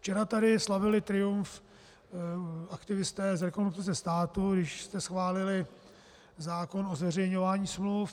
Včera tady slavili triumf aktivisté z Rekonstrukce státu, když jste schválili zákon o zveřejňování smluv.